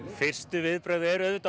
fyrstu viðbrögð eru auðvitað